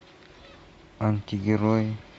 антигерой